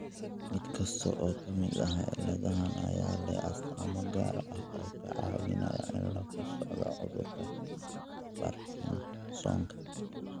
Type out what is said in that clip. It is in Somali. Mid kasta oo ka mid ah cilladahan ayaa leh astaamo gaar ah oo ka caawinaya in laga sooco cudurka Parkinsonka.